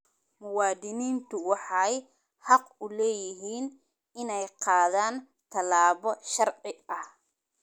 Muwaadiniintu waxay xaq u leeyihiin inay qaadaan tallaabo sharci ah.